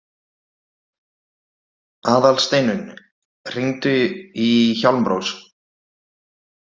Aðalsteinunn, hringdu í Hjálmrós.